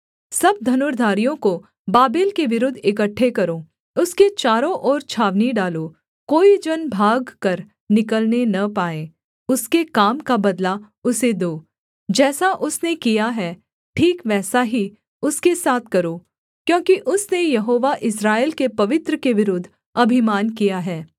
सब धनुर्धारियों को बाबेल के विरुद्ध इकट्ठे करो उसके चारों ओर छावनी डालो कोई जन भागकर निकलने न पाए उसके काम का बदला उसे दो जैसा उसने किया है ठीक वैसा ही उसके साथ करो क्योंकि उसने यहोवा इस्राएल के पवित्र के विरुद्ध अभिमान किया है